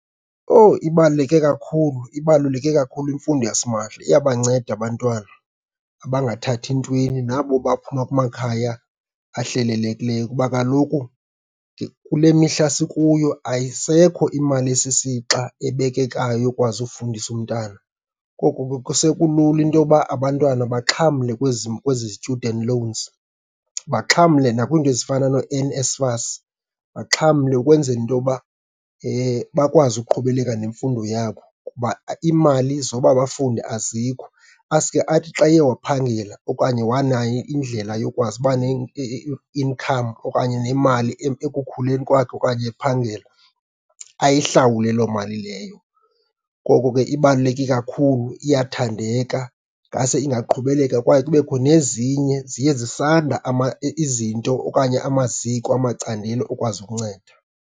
Owu ibaluleke kakhulu, ibaluleke kakhulu imfundo yasimahla. Iyabanceda abantwana abangathathi ntweni nabo baphuma kumakhaya ahlelelekileyo kuba kaloku kule mihla sikuyo ayisekho imali esisixa ebekekayo yokwazi ufundisa umntana. Koko ke sekulula into yoba abantwana baxhamle kwezi, kwezi student loans, baxhamle nakwiinto ezifana nooNSFAS, baxhamle ukwenzela into yoba bakwazi ukuqhubeleka nemfundo yabo, ngoba iimali zoba bafunde azikho. Asuke athi xa eye waphangela okanye wanayo indlela yokwazi uba ne-income okanye nemali ekukhuleni kwakhe okanye ephangela ayihlawule loo mali leyo. Ngoko ke ibaluleke kakhulu, iyathandeka. Ngase ingaqhubeleka kwaye kubekho nezinye, ziye zisanda izinto okanye amaziko, amacandelo okwazi ukunceda.